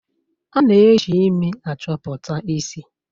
A na-eji imi achọpụta isi